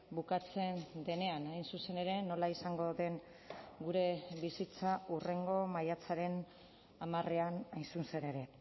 bukatzen denean hain zuzen ere nola izango den gure bizitza hurrengo maiatzaren hamarean hain zuzen ere